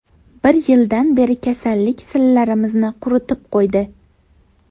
Bir yildan beri kasallik sillamizni quritib qo‘ydi.